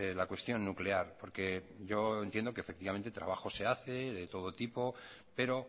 la cuestión nuclear porque yo entiendo que efectivamente trabajo se hace de todo tipo pero